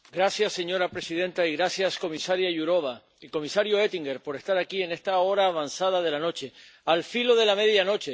Señora presidenta gracias, comisaria Jourová y comisario Oettinger por estar aquí, en esta hora avanzada de la noche, al filo de la medianoche.